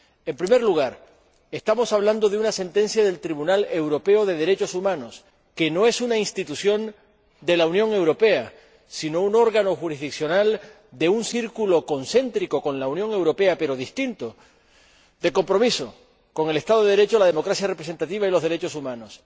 En primer lugar, estamos hablando de una sentencia del Tribunal Europeo de Derechos Humanos, que no es una institución de la Unión Europea, sino un órgano jurisdiccional de un círculo concéntrico con la Unión Europea, pero distinto de compromiso con el Estado de Derecho, la democracia representativa y los derechos humanos.